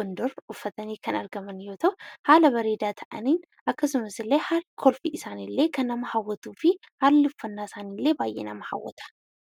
Gondar kan uffatanii argaman yeroo ta'u, haala bareedaa ta'een akkasumallee kolfi isaanii kan nama hawwatuufi haalli uffannaa isaani illee baay'ee nama hawwata.